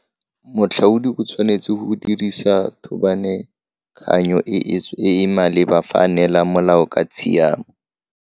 Moatlhodi o tshwanetse go dirisa thôbanetekany o e e maleba fa a neela molao ka tshiamo.